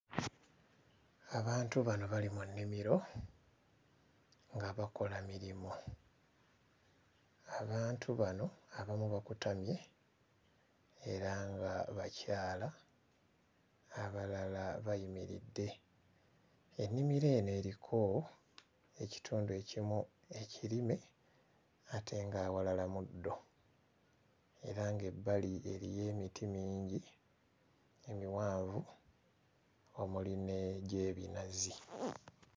Abatu bano bali mu nnimiro nga bakola mirimu, abantu bano abamu bakutamye era nga bakyala, abalala bayimiridde, ennimiro eno eriko ekitundu ekimu ekirime ate ng'awalala muddo era ng'ebbali eriyo emiti mingi emiwanvu omuli n'egy'ebinazi.